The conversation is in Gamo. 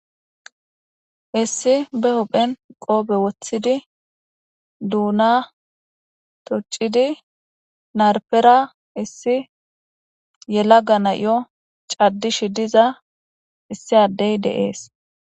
issi be huphen qoobe woththidi duuna tuccidi narpera issi yela gana yo caddishi diza issi addey deees